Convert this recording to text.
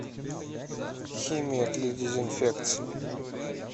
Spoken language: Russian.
химия для дезинфекции